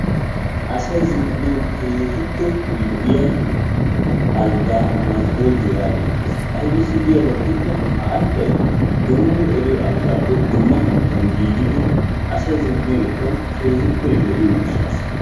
asay zin''anaw keehippe lo''iyaa algga masbolddi yaagetees. ayssi yaagiyo giyaaba gidikko ha alggay beni nu eriyo alggappe dumma hanotan giigidi asay zin''iyoodekka keehippe lo''iyo gishshassa.